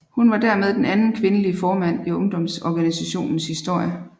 Hun var dermed den anden kvindelige formand i ungdomsorganisationens historie